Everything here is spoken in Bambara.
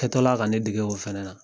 Kɛtɔla ka ne dege o fɛnɛ na